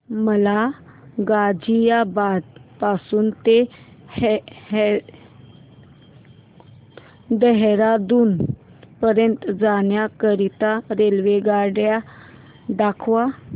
मला गाझियाबाद पासून ते देहराडून पर्यंत जाण्या करीता रेल्वेगाडी दाखवा